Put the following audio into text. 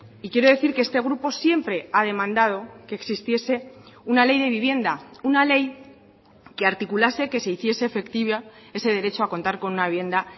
y quiero decir que este grupo siempre ha demandado que existiese una ley de vivienda una ley que articulase que se hiciese efectiva ese derecho a contar con una vivienda